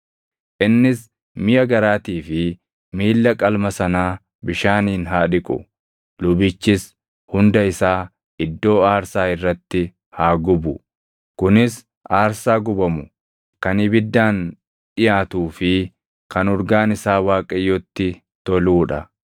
Innis miʼa garaatii fi miilla qalma sanaa bishaaniin haa dhiqu; lubichis hunda isaa iddoo aarsaa irratti haa gubu. Kunis aarsaa gubamu kan ibiddaan dhiʼaatuu fi kan urgaan isaa Waaqayyotti toluu dha.